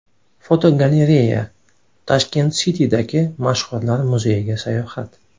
Fotogalereya: Tashkent City’dagi mashhurlar muzeyiga sayohat.